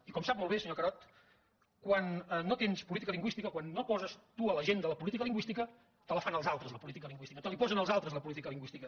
i com sap molt bé senyor carod quan no tens política lingüística quan no poses tu a l’agenda la política lingüística te la fan els altres la política lingüística te la hi posen els altres la política lingüística